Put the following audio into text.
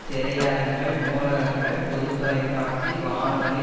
திரையரங்குகள் நூலகங்கள் பொது தொலை காட்சி வானொலி